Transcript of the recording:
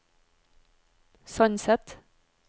Sandset